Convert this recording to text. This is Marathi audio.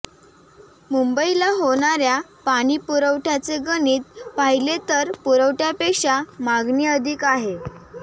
मुंबईला होणाऱ्या पाणीपुरवठ्याचे गणित पाहिले तर पुरवठ्यापेक्षा मागणी अधिक आहे